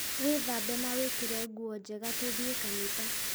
Wĩthambe na wĩkĩre nguo njega tũthiĩ kanitha